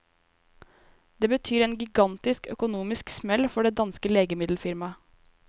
Det betyr en gigantisk økonomisk smell for det danske legemiddelfirmaet.